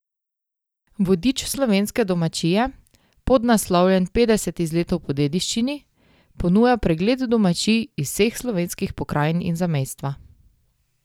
Vodič Slovenske domačije, podnaslovljen Petdeset izletov po dediščini, ponuja pregled domačij iz vseh slovenskih pokrajin in zamejstva.